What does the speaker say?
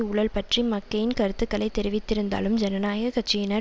ஊழல் பற்றி மக்கெயின் கருத்துக்களை தெரிவித்திருந்தாலும் ஜனநாயக கட்சியினர்